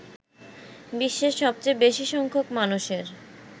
বিশ্বের সবচেয়ে বেশি সংখ্যক মানুষের